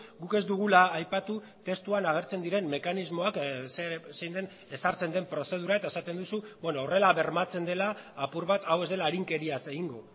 guk ez dugula aipatu testuan agertzen diren mekanismoak zein den ezartzen den prozedura eta esaten duzu horrela bermatzen dela apur bat hau ez dela arinkeriaz egingo